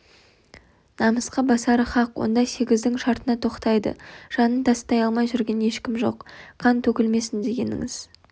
намысқа басары хақ онда сегіздің шартына тоқтайды жанын тастай алмай жүрген ешкім жоқ қан төгілмесін дегеніңіз